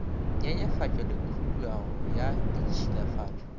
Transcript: nyenyefatšo le khudugo ya ditšhilafatšo